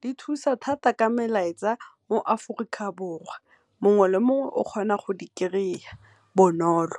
di thusa thata ka melaetsa mo Aforika Borwa mongwe le mongwe o kgona go di kry-a bonolo.